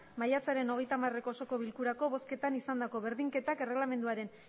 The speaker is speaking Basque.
maiatzaren hogeita hamareko osoko bilkurako bozketan izandako berdinketak erregelamenduaren